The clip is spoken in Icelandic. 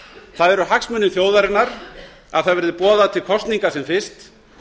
það eru hagsmunir þjóðarinnar að það verði boðað til kosninga sem fyrst